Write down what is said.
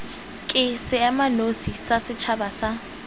ke seemanosi sa setšhaba sa